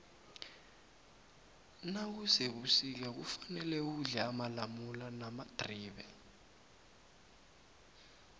nakusebusika kufane udle amalamula namadribe